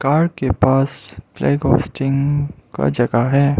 Car के पास flag hosting का जगह है।